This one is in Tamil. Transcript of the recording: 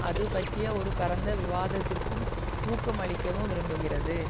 அது பற்றிய ஒரு பரந்த விவாதத்திற்கு ஊக்கம் அளிக்கவும் விரும்புகிறது